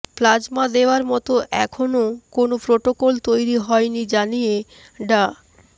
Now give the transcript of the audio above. plasma দেওয়ার মতো এখনও কোনও প্রটোকল তৈরি হয়নি জানিয়ে ডা